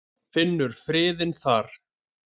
Finnur friðinn þar.